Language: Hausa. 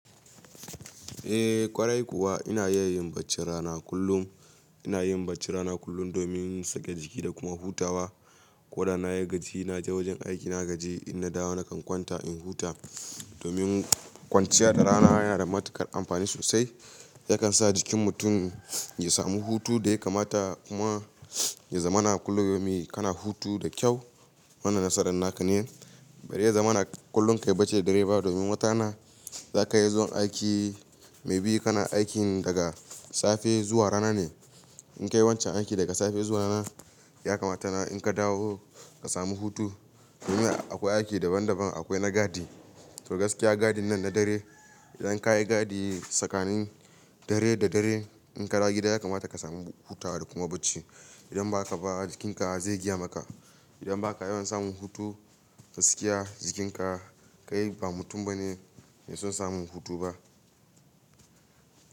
Eh, ƙwarai kuwa ina iya yin bacci rana kullum. Ina yin bacci rana kullum domin in sake jiki da kuma hutawa. Ko da na yi gaji na je wajen aiki na gaji, in na dawo nakan kwanta in huta domin kwanciya da rana yana da matuƙar amfani sosai. Yakan sa jikin mutum ya samu hutu da ya kamata kuma ya zamana kullum me kana hutu da kyau. Wannan nasaran naka ne, bari ya zamana kullun ka yi bacci da dare ba domin wata rana za ka iya zuwa aiki. Maybe kana aikin daga safe zuwa rana ne. In kayi wancan aiki daga safe zuwa rana, ya kamata in ka dawo ka samu hutu domin akwai aiki daban-daban. Akwai na gadi, to gaskiya gadin nan na dare. Idan ka yi gadi tsakanin dare da dare, in ka dawo gida ya kamata ka samu hutawa da kuma bacci. Idan ba haka ba jikinka zai gaya maka. Idan baka yawan samun hutu, gaskiya jikinka kai ba mutum bane mai son samun hutu ba.